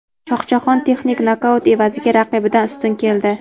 Shohjahon texnik nokaut evaziga raqibidan ustun keldi.